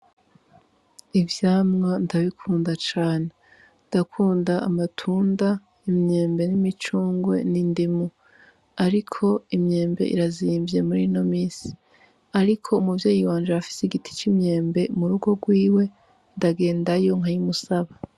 Ivyamwa ndabikunda cane ndakunda amatunda imyembe n'imicungwe n'indimu, ariko imyembe irazimvye muri no misi, ariko umuvyeyi wanje arafise igiti c'imyembe mu rugo rwiwe ndagendayo nkayi musaba.